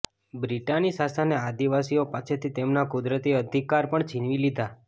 બ્રિટાની શાસને આદિવાસીઓ પાસેથી તેમના કુદરતી અધિકાર પણ છીનવી લીધા